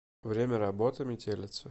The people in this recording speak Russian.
время работы метелица